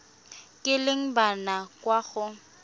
kileng ba nna kwa go